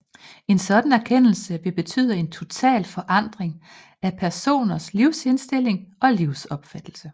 En sådan erkendelse vil betyde en total forandring af personens livsindstilling og livsopfattelse